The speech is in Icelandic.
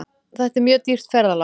Þetta er mjög dýrt ferðalag.